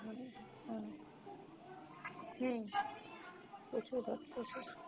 হম হম প্রচুর ভক্ত যে।